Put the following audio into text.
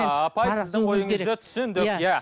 апай сіздің ойыңызды түсіндік иә